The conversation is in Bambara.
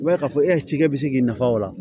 I b'a ye k'a fɔ e ci kɛ bɛ se k'i nafa o la